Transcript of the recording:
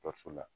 Dɔkɔtɔrɔso la